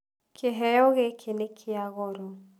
Kĩheo gĩkĩ nĩkĩa goro.